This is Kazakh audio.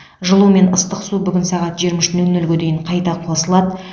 жылу мен ыстық су бүгін сағат жиырма үш нөл нөлге дейін қайта қосылады